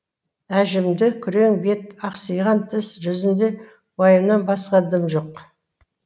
әжімді күрең бет ақсиған тіс жүзінде уайымнан басқа дым жоқ